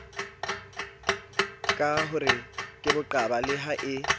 ka horekeboqaba le ha e